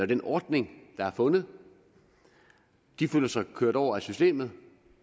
den ordning der er fundet de føler sig kørt over af systemet